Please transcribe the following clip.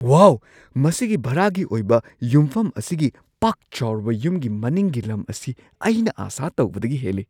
ꯋꯥꯎ, ꯃꯁꯤꯒꯤ ꯚꯔꯥꯒꯤ ꯑꯣꯏꯕ ꯌꯨꯝꯐꯝ ꯑꯁꯤꯒꯤ ꯄꯥꯛ ꯆꯥꯎꯔꯕ ꯌꯨꯝꯒꯤ ꯃꯅꯤꯡꯒꯤ ꯂꯝ ꯑꯁꯤ ꯑꯩꯅ ꯑꯥꯁꯥ ꯇꯧꯕꯗꯒꯤ ꯍꯦꯜꯂꯤ!